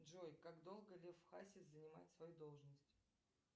джой как долго лев хасис занимает свою должность